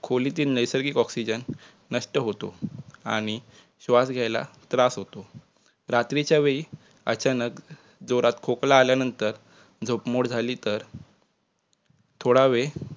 खोलीतील नैसर्गिक oxygen नष्ट होतो आणि श्वास घ्यायला त्रास होतो. रात्रीच्यावेळी अचानक जोरात खोकला आल्यानंतर झोप मोड झाली तर थोडावेळ